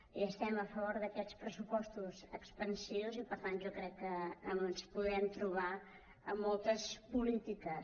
i estem a favor d’aquests pressupostos expansius i per tant jo crec que ens podem trobar en moltes polítiques